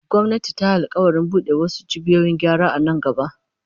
Gwamnati ta yi alƙawarin bude wasu cibiyoyin gyara a nan gaba.